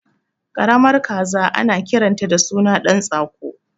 Karamar kaza ana kiranta da suna ɗan tsako